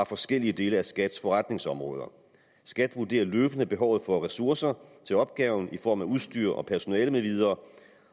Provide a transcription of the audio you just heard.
forskellige dele af skats forretningsområde skat vurderer løbende behovet for ressourcerne til opgaven i form af udstyr og personale med videre